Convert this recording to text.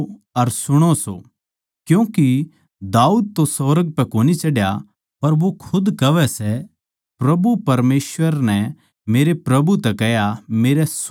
क्यूँके दाऊद तो सुर्ग पै कोनी चढ्या पर वो खुद कहवै सै प्रभु परमेसवर नै मेरे प्रभु तै कह्या मेरै सोळी ओड़ नै बैठ